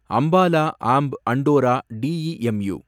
Ambala Amb Andaura DEMU